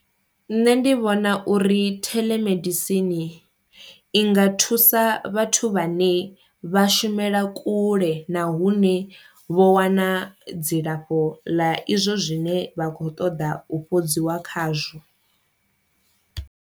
Nṋe ndi vhona uri theḽomedisini i nga thusa vhathu vhane vha shumela kule na hune vho wana dzilafho ḽa izwo zwine vha kho ṱoḓa u fhodziwa khazwo.